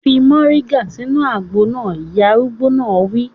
Fi moringa sínú àgbo náà! Ìyá arúgbó náà wí.